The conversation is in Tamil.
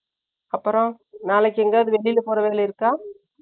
அப்ரோ நாளைக்கு எங்கேயாச்சு வெளில போற வேலை இருக்கா